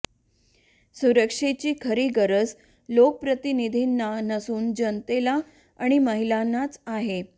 सुरक्षेची खरी गरज लोकप्रतिनिधींना नसून जनतेला आणि महिलांनाच आहे